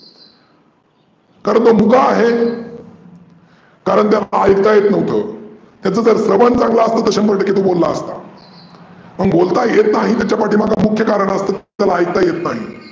कारण तो उका आहे. कारण त्याला ऐकायला येतं नव्हत. त्याचं स्रवन चांगल असतं तर तो शंभर टक्के बोलला असता. मग बोलता येत नाही त्याच्या पाठिमागचं मुख्य कारन असं त्याला ऐकता येत नाही.